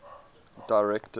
directors